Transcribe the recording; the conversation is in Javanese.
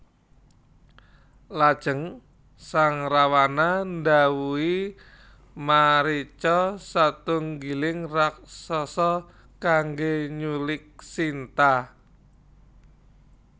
Lajeng sang Rawana ndhawuhi Marica satunggiling raksasa kanggé nyulik Sinta